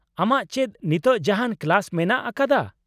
ᱟᱢᱟᱜ ᱪᱮᱫ ᱱᱤᱛᱳᱜ ᱡᱟᱦᱟᱸᱱ ᱠᱞᱟᱥ ᱢᱮᱱᱟᱜ ᱟᱠᱟᱫᱟ ?